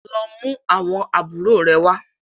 lọ mú àwọn àbúrò rẹ wá!